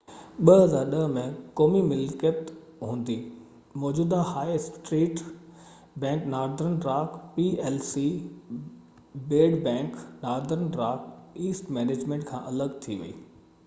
2010 ۾، قومي ملڪيت هوندي، موجوده high street bank Northern Rock P L C ‘bad bank’, Northern Rock asset management کان الڳ ٿي وئي